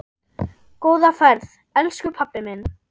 Góða ferð, elsku pabbi minn.